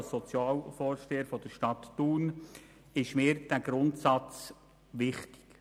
Als Sozialvorsteher der Stadt Thun ist mir dieser Grundsatz wichtig.